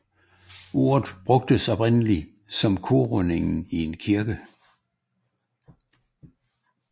Ordet brugtes oprindelig om korrundingen i en kirke